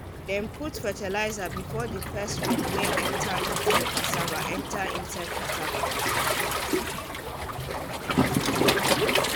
dem put fertilizer before the first rain wey enter inside cassava enter inside cassava